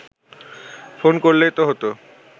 phone করলেই তো হতো